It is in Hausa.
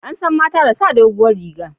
An san mata da sa dogon riga